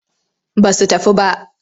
Ba su tafi ba.